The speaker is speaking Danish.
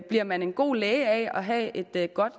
bliver man en god læge af at have et godt